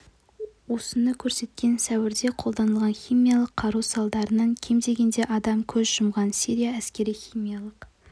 осыны көрсеткен сәуірде қолданылған химиялық қару салдарынан кем дегенде адам көз жұмған сирия әскері химиялық